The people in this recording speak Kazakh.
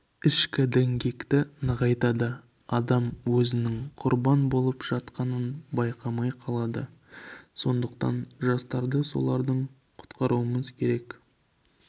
ішкі діңгекті нығайтады адам өзінің құрбан болып жатқанын байқамай қалады сондықтан жастарды солардан құтқаруымыз керек